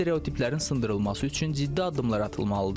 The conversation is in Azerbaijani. Bu stereotiplərin sındırılması üçün ciddi addımlar atılmalıdır.